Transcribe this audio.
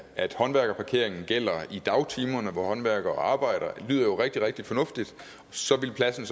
at håndværkerparkeringen gælder i dagtimerne hvor håndværkere arbejder lyder jo rigtig rigtig fornuftigt så ville pladsen